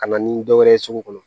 Ka na ni dɔ wɛrɛ ye sugu kɔnɔ